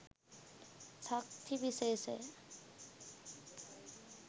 ශක්ති විශේෂය